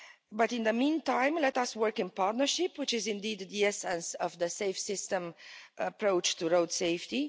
But in the meantime, let us work in partnership which is indeed the essence of the safe system approach to road safety.